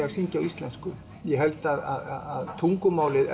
að syngja á íslensku ég held að tungumálið